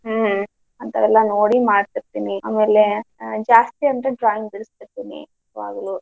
ಹ್ಮ್ ಅಂತಾವೆಲ್ಲ ನೋಡಿ ಮಾಡ್ತಿರ್ತೀನಿ. ಆಮೇಲೆ ಅಹ್ ಜಾಸ್ತಿ ಅಂದ್ರೆ drawing ಬಿಡಿಸ್ತಿರ್ತೀನಿ ಯಾವಾಗಲು.